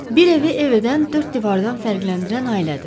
Bir evi ev edən dörd divardan fərqləndirən ailədir.